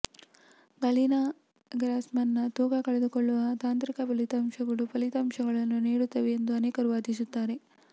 Galina ಗ್ರಾಸ್ಮನ್ನ ತೂಕ ಕಳೆದುಕೊಳ್ಳುವ ತಂತ್ರದ ಫಲಿತಾಂಶಗಳು ಫಲಿತಾಂಶಗಳನ್ನು ನೀಡುತ್ತವೆ ಎಂದು ಅನೇಕರು ವಾದಿಸುತ್ತಾರೆ